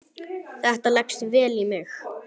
Þetta leggst vel í mig.